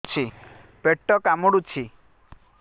ପେଟ କାମୁଡୁଛି